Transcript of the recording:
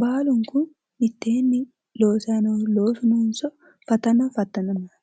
Baalunku mittenni loosayi noohu loosu noonso fatana fattanamayi no?